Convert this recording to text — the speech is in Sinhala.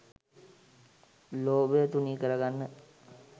ලෝභය තුනී කරගන්න